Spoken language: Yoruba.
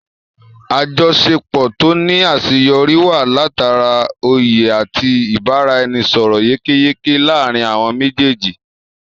Àjọṣepọ̀ tó ní àṣeyọrí wáyé látara oyè àti ibaraẹnisọrọ yékéyéké láàrin àwọn méjèèjì